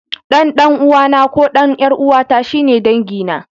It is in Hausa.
Ɗan ɗan'uwana ko ɗan ƴar'uwata shi ne dangina.